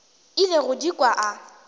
ile go di kwa a